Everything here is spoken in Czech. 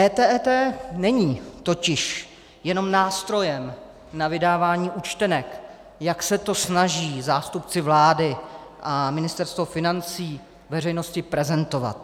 EET není totiž jenom nástrojem na vydávání účtenek, jak se to snaží zástupci vlády a Ministerstvo financí veřejnosti prezentovat.